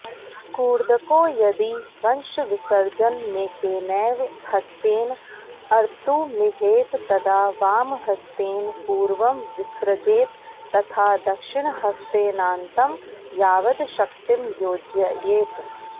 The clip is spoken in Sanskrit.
कूर्दको यदि वंशविसर्जनमेकेनैव ह्स्तेन अर्तुमीहेत् तदा वामहस्तेन पूर्वं विसृजेत् तथा दक्षिणहस्तेनान्तं यावद् शक्तिं योजयेत्